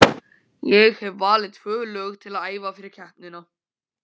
Ég hef valið tvö lög til að æfa fyrir keppnina.